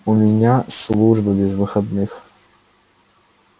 у меня служба без выходных